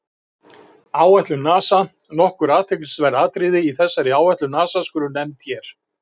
Áætlun NASA Nokkur athyglisverð atriði í þessari áætlun NASA skulu nefnd hér.